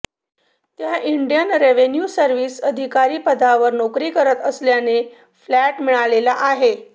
त्या Indian revenue service अधिकारी पदावर नोकरी करत असल्याने फ्लॅट मिळालेला आहे